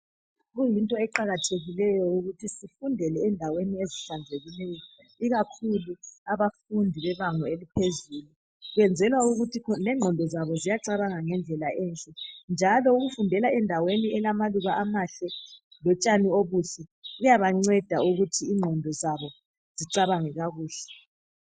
Kuyinto eqakathekileyo ukuthi sifundele endaweni ezihlanzekileyo ikakhulu abafundi bebanga eliphezulu kwenzelwa ukuthi lengqondo zabo ziyacabanga ngendlela enhle njalo ukufundela endaweni elamaluba amahle lotshani obuhle kuyabanceda ukuthi ingqondo zabo zicabange kakuhle.